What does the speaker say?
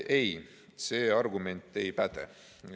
Ei, see argument ei päde.